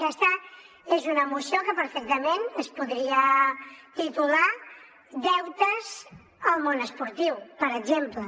aquesta és una moció que perfectament es podria titular deutes al món esportiu per exemple